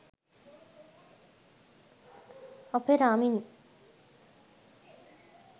opera mini